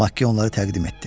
Makki onları təqdim etdi.